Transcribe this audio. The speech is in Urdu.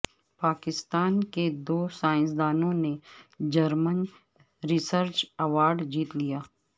پاکستان کے دو سائنس دانوں نے جرمن ریسرچ ایوارڈ جیت لیا